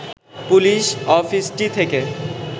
police অফিসটি থেকে